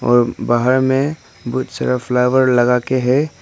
और बाहर में बहुत सारा फ्लावर लगा के है।